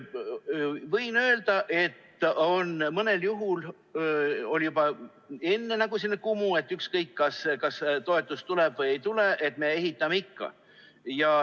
Võin öelda, et mõnel juhul oli juba enne selline kumu, et ükskõik, kas toetus tuleb või ei tule, me ehitame ikka.